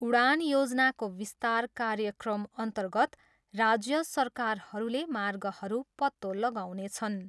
उडान योजनाको विस्तार कार्यक्रमअन्तर्गत राज्य सरकारहरूले मार्गहरू पत्तो लगाउनेछन्।